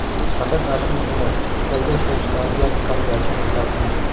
Faqat aslini emas, Xitoyda ishlab chiqarilgan qalbaki nusxasini.